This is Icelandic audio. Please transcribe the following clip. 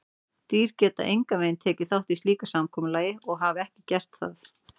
Dýr geta engan veginn tekið þátt í slíku samkomulagi og hafa ekki gert það.